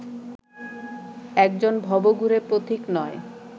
একজন ভবঘুরে পথিক নয়